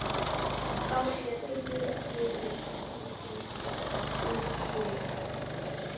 Þá sé reiðufé í hraðbönkum uppurið